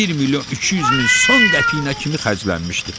Bir milyon üç yüz min son qəpiyinə kimi xərclənmişdi.